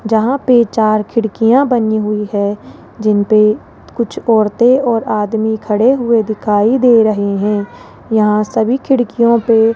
जहां पे चार खिड़कियां बनी हुई है जिनपे कुछ औरतें और आदमी खड़े हुए दिखाई दे रहे हैं यहां सभी खिड़कियों पे --